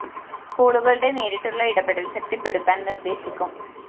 സ്‌കൂളുകളുടെ നേരിട്ടുള്ള ഇടപെടല്‍ ശക്തിപ്പെടുത്താന്‍ നിര്‍ദ്ദേശിക്കും